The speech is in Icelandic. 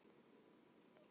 Það er málið, manni minn.